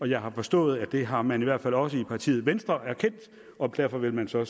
jeg har forstået at det har man i hvert fald også erkendt i partiet venstre og derfor vil man så